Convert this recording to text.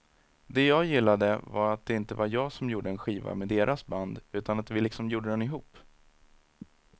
Det jag gillade var att det inte var jag som gjorde en skiva med deras band utan att vi liksom gjorde den ihop.